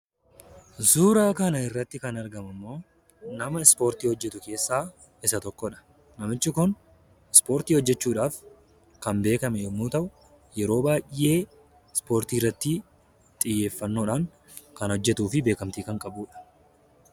Suuraa kanarratti kan arginu immoo nama Ispoortii hojjetu keessaa isa tokkodha. Namichi kun Ispoortii hojjechuun kan beekame yoo ta’u, yeroo baay'ee Ispoortii irratti xiyyeeffannoodhaan kan hojjetuu fi beekamtii kan qabudha.